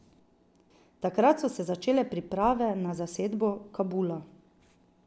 Takrat so se začele priprave na zasedbo Kabula.